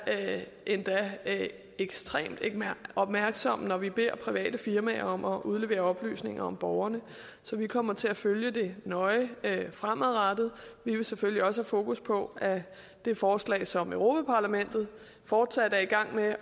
endda ekstremt opmærksom når vi beder private firmaer om at udlevere oplysninger om borgerne så vi kommer til at følge det nøje fremadrettet vi vil selvfølgelig også have fokus på det forslag som europa parlamentet fortsat er i gang med